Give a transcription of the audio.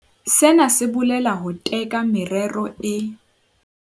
Sena se bolela ho teka merero e.